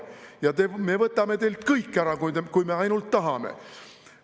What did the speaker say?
Ja me võtame teilt kõik ära, kui me ainult tahame.